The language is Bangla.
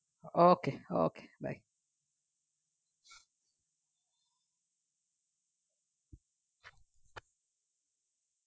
okay okay bye